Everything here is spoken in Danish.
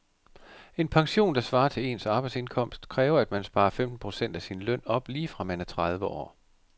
En pension, der svarer til ens arbejdsindkomst, kræver at man sparer femten procent af sin løn op lige fra man er tredive år.